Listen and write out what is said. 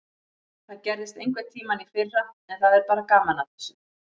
Það gerðist einhverntímann í fyrra en það er bara gaman að þessu.